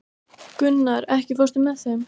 Gunnar, ekki fórstu með þeim?